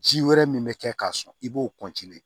Ji wɛrɛ min bɛ kɛ k'a sɔn i b'o